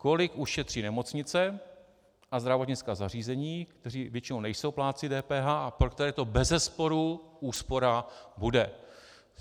Kolik ušetří nemocnice a zdravotnická zařízení, které většinou nejsou plátci DPH a pro které to bezesporu úspora bude.